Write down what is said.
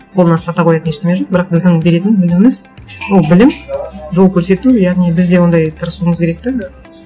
қолына ұстата қоятын ештеңе жоқ бірақ біздің беретін өніміміз ол білім жол көрсету яғни біз де ондай тырысуымыз керек те